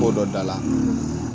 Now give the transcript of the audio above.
K'o dɔ da la